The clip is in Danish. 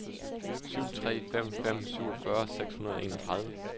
syv tre fem fem syvogfyrre seks hundrede og enogtredive